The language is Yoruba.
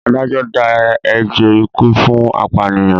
Adájọ́ dá ẹjọ́ ikú fún apànìyàn.